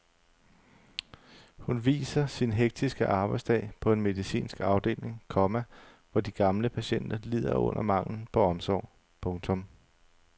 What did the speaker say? Hun viser sin hektiske arbejdsdag på en medicinsk afdeling, komma hvor de gamle patienter lider under manglen på omsorg. punktum